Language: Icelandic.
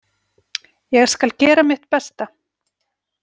Ég skal gera mitt besta.